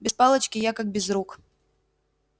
без палочки я как без рук